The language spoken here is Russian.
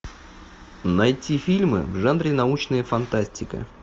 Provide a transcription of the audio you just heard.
найти фильмы в жанре научная фантастика